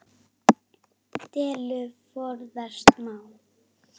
Dellu forðast má.